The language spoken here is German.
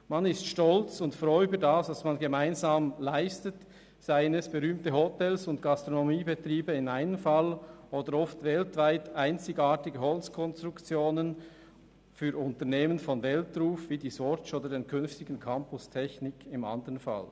Man ist stolz und froh über das, was man gemeinsam leistet, seien es berühmte Hotels und Gastronomiebetriebe im einen Fall, oder oft weltweit einzigartige Holzkonstruktionen für Unternehmen von Weltruhm wie die Swatch oder den künftigen Campus Technik im anderen Fall.